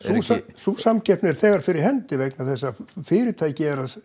sú samkeppni er þegar fyrir hendi vegna þess að fyrirtæki